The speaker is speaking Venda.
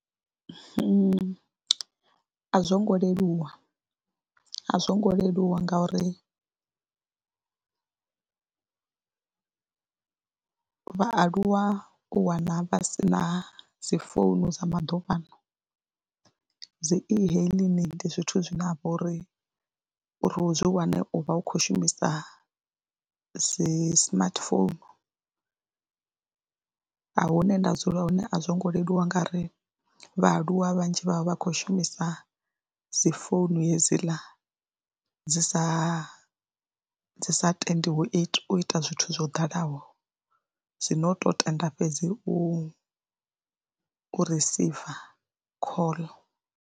A zwo ngo leluwa, a zwo ngo leluwa ngauri vhaaluwa u wana vha si na dzi founu dza maḓuvhano, dzi e-hailing ndi zwithu zwine ha vha uri zwi wane u vha u khou shumisa dzi smartphone hune nda dzula hone a zwo ngo leluwa nga ri vhaaluwa vhanzhi vha vha vha khou shumisa dzi founu hedziḽa dzi sa dzi sa tendiwo u ita zwithu zwo dalaho dzi ino u tou tenda fhedzi u ri receiver call.